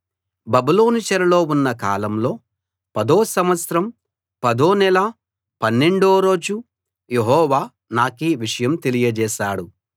బబులోను చెరలో ఉన్న కాలంలో పదో సంవత్సరం పదో నెల పన్నెండో రోజు యెహోవా నాకీ విషయం తెలియచేశాడు